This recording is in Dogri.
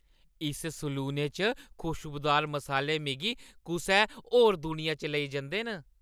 इस सलूने च खुशबूदार मसाले मिगी कुसै होर दुनिया च लेई जंदे न।